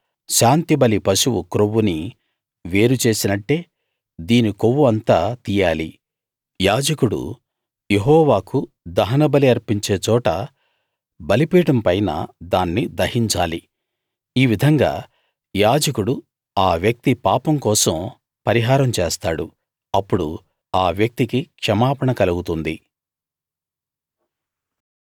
తరువాత శాంతిబలి పశువు క్రొవ్వుని వేరు చేసినట్టే దీని కొవ్వు అంతా తీయాలి యాజకుడు యెహోవాకు దహనబలి అర్పించే చోట బలిపీఠం పైన దాన్ని దహించాలి ఈ విధంగా యాజకుడు ఆ వ్యక్తి పాపం కోసం పరిహారం చేస్తాడు అప్పుడు ఆ వ్యక్తికి క్షమాపణ కలుగుతుంది